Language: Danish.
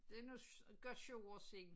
Det nok godt 7 år siden